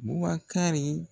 Bubakari